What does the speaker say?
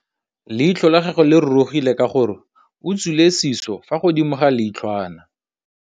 Leitlhô la gagwe le rurugile ka gore o tswile sisô fa godimo ga leitlhwana.